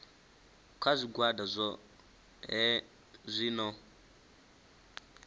kha zwigwada zwohe zwi no